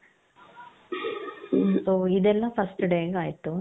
ಮ್ ಇದೆಲ್ಲಾ first day ಆಯ್ತು